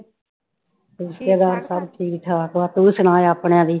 ਰਿਸ਼ੇਤਦਾਰ ਸਾਰੇ ਠੀਕ ਠਾਕ ਆ ਤੂੰ ਸੁਣਾ ਆਪਣਿਆਂ ਦੀ।